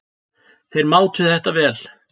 Þeir mátu þetta vel.